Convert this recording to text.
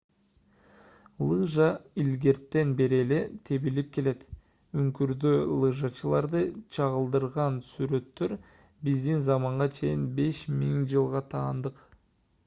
лыжа илгертен бери эле тебилип келет үңкүрдө лыжачыларды чагылдырган сүрөттөр биздин заманга чейин 5000-жылга таандык